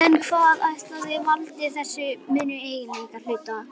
En hvað ætli valdi þessum mun á eiginleikum hlutanna?